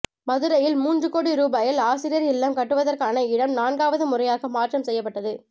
மதுரையில் மூன்று கோடி ரூபாயில் ஆசிரியர் இல்லம் கட்டுவதற்கான இடம் நான்காவது முறையாக மாற்றம் செய்யப்பட்டது